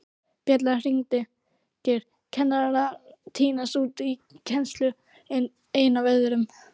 Bjallan hringir, kennarar tínast út í kennsluna einn af öðrum.